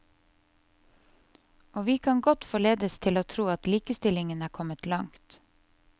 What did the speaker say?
Og vi kan godt forledes til å tro at likestillingen er kommet langt.